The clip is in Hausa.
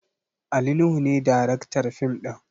Ali nuhu ne daraktar fim ɗin